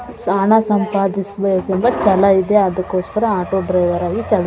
ಹಣ ಸಂಪಾದಿಸಬೇಕೆಂಬ ಛಲ ಇದೆ ಅದಕ್ಕೋಸ್ಕರ ಆಟೋ ಡ್ರೈವರ್ ಆಗಿ ಕೆಲಸ --